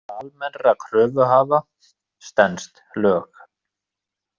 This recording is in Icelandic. Tillaga almennra kröfuhafa stenst lög